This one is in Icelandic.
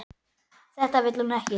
Þetta vill hún ekki.